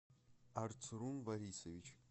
арцрун борисович